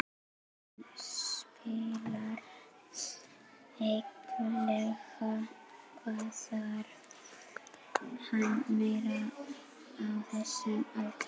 Hann spilar vikulega, hvað þarf hann meira á þessum aldri?